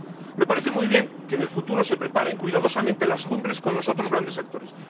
Me parece muy bien que en el futuro se preparen cuidadosamente las cumbres con los otros grandes actores.